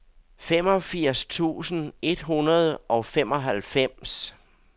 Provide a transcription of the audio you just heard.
femogfirs tusind et hundrede og femoghalvfems